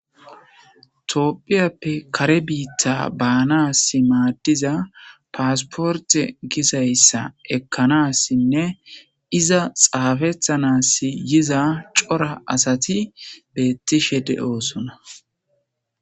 Toopphiyappe kare biitta baanas maaddiza paasporte gizayssa ekkanassinne iza xaafethanas yiza cora asati beettishe de'oosona